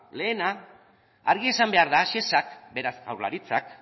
lehena argi esan behar da shesak beraz jaurlaritzak